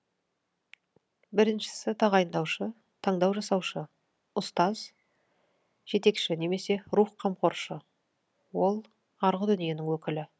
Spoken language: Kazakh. біріншісі тағайындаушы таңдау жасаушы ұстаз жетекші немесе рух қамқоршы ол арғы дүниенің өкілі